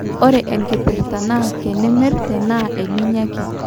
ore enkipirr`ta naa kenimir tenaa eninya ake